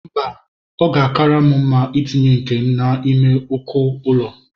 Mba, ọ ga-akara m mma itinye nke m n'ime uko ụlọ.